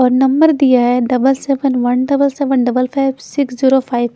और नंबर दिया है double seven one double seven double five six zero five --